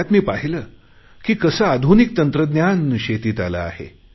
त्यात मी पाहिले की कसे आधुनिक तंत्रज्ञान शेतीत आले आहे